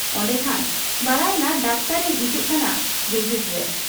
ᱚᱱᱰᱮᱠᱷᱟᱱ ᱵᱟᱰᱟᱭᱮᱱᱟ ᱰᱟᱠᱛᱚᱨ ᱮ ᱦᱤᱡᱩᱜ ᱠᱟᱱᱟ ᱵᱷᱤᱡᱤᱴ ᱨᱮ ᱾